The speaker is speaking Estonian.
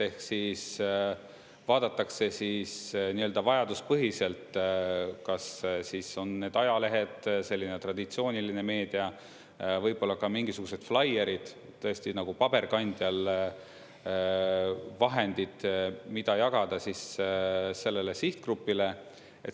Ehk siis, vaadatakse siis nii-öelda vajaduspõhiselt, kas siis on need ajalehed, selline traditsiooniline meedia, võib-olla ka mingisugused flaierid, tõesti nagu paberkandjal vahendid, mida jagada siis sellele sihtgrupile.